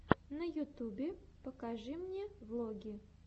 на ютубе покажи мне влоги